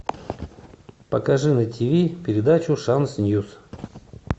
покажи на ти ви передачу шанс ньюс